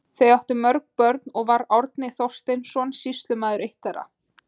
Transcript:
Þau áttu mörg börn og var Árni Þorsteinsson sýslumaður eitt þeirra.